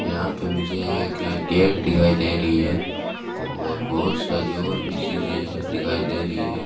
यहां पे मुझे एक गेट दिखाई दे रही है और बहोत सारी और भी चीजे दिखाई दे रही है।